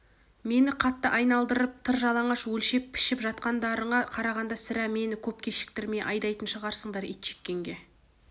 мені қатты айналдырып тыр жалаңаш өлшеп-пішіп жатқандарыңа қарағанда сірә мені көп кешіктірмей айдайтын шығарсыңдар итжеккенге